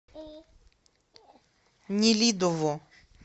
нелидово